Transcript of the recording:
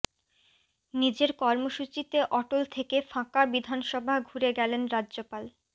নিজের কর্মসূচিতে অটল থেকে ফাঁকা বিধানসভা ঘুরে ফিরে গেলেন রাজ্যপাল